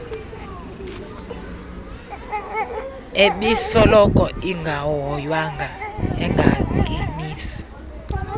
ebisoloko ingahoywanga engangenisi